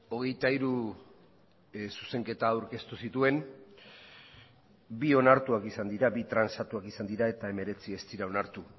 hogeita hiru zuzenketa aurkeztu zituen bi onartuak izan dira bi transatuak izan dira eta hemeretzi ez dira onartu